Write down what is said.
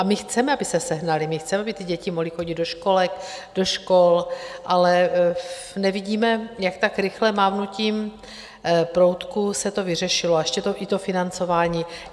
A my chceme, aby se sehnala, my chceme, aby ty děti mohly chodit do školek, do škol, ale nevidíme, jak tak rychle, mávnutím proutku se to vyřešilo, a ještě i to financování.